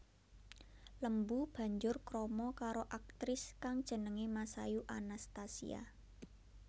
Lembu banjur krama karo aktris kang jenengé Masayu Anastasia